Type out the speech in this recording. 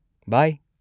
ꯕꯥꯏ!